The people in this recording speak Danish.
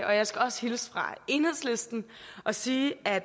og jeg skal også hilse fra enhedslisten og sige at